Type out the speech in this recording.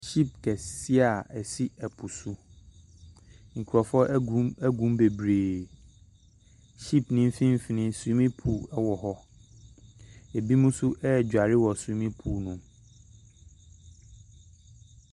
Ship kɛseɛ a ɛsi po so, nkurɔfoɔ gu mu gu mu bebree, shipne mfimfini swimming pool wɔ hɔ, binom nso ɛredware wɔ swimming pool no mu.